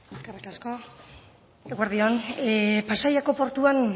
eskerri asko eguerdi on pasaiako portuan